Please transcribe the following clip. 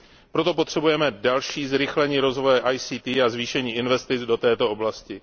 Proto potřebujeme další zrychlení rozvoje ICT a zvýšení investic do této oblasti.